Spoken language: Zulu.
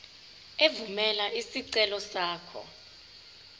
evumela isicelo sakho